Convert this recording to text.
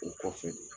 U kɔfɛ